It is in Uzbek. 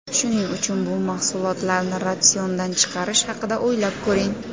Shuning uchun bu mahsulotlarni ratsiondan chiqarish haqida o‘ylab ko‘ring.